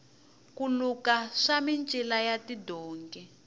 ku luka swa micila ya tidonki